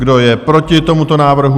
Kdo je proti tomuto návrhu?